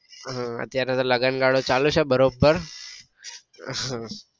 હા અત્યરે તો લગન ગાળો ચાલે છે બરોબર